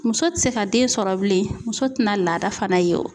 Muso ti se ka den sɔrɔ bilen, muso ti na laada fana ye o.